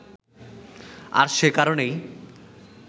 আর সে কারনেই